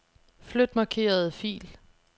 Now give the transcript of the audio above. Flyt markerede fil.